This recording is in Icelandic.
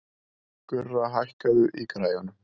Gurra, hækkaðu í græjunum.